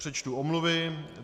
Přečtu omluvy.